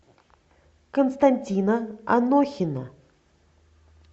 константина анохина